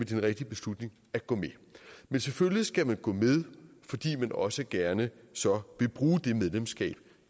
den rigtige beslutning at gå med men selvfølgelig skal man gå med fordi man også gerne så vil bruge det medlemskab